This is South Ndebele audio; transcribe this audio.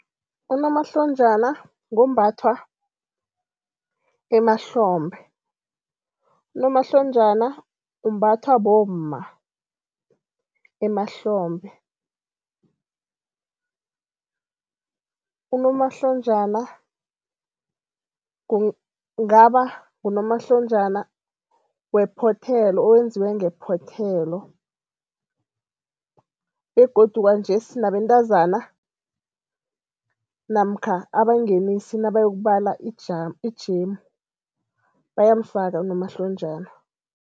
Unomahlonjana ngombathwa emahlombe. Unomahlonjana umbathwa bomma emahlombe, unomahlonjana kungaba ngunomahlonja wephothelo owenziwe ngephothelo begodu kwanjesi nabentazana namkha abangenisi nabayokubala ijemu bayamfaka unomahlonjana.